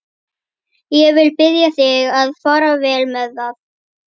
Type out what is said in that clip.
Ég vil biðja þig að fara vel með það.